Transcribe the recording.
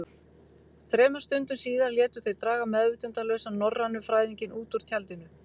Þremur stundum síðar létu þeir draga meðvitundarlausan norrænufræðinginn út úr tjaldinu.